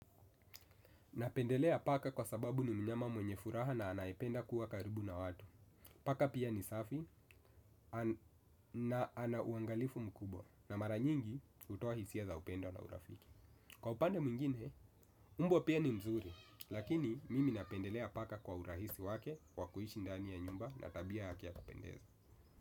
Napendelea paka kwa sababu ni mnyama mwenye furaha na anayependa kuwa karibu na watu. Paka pia ni safi na ana uangalifu mkubwa na mara nyingi hutoa hisia za upendo na urafiki. Kwa upande mwingine, mbwa pia ni mzuri. Lakini mimi napendelea paka kwa urahisi wake kwa kuishi ndani ya nyumba na tabia yake ya kupendeza.